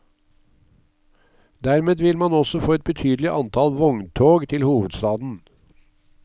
Dermed vil man også få et betydelig antall vogntog til hovedstaden.